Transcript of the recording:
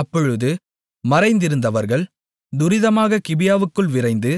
அப்பொழுது மறைந்திருந்தவர்கள் துரிதமாக கிபியாவுக்குள் விரைந்து